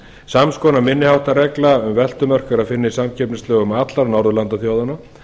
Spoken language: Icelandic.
sams konar minni háttar regla um veltumörk er að finna í samkeppnislögum allra norðurlandaþjóðanna